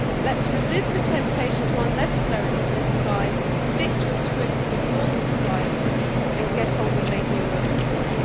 Let us resist the temptation to unnecessarily politicise, stick to a script we can all subscribe to, and get on with making a real difference.